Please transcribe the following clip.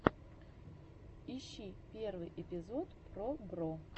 ищи первый эпизод пробро